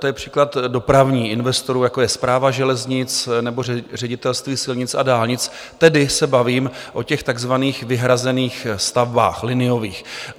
To je příklad dopravních investorů, jako je Správa železnic nebo Ředitelství silnic a dálnic, tedy se bavím o těch takzvaných vyhrazených stavbách liniových.